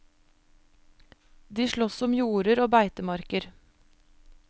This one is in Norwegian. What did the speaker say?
De slåss om jorder og beitemarker.